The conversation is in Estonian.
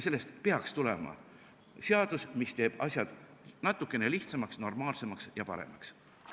Sellest peaks tulema seadus, mis teeb asjad natukene lihtsamaks, normaalsemaks ja paremaks.